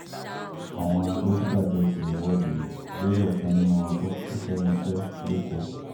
àwọn dókítà fẹ́ẹ́ ṣe ìwọ́de lórí ọ̀kan nínú wọn tó kù sẹ́nu iṣẹ́ lẹ́kọ̀ọ́